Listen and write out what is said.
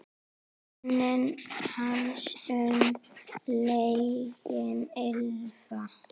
Minning hans mun lengi lifa.